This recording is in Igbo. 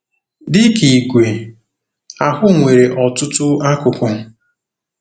Dị ka igwe, ahụ nwere ọtụtụ akụkụ.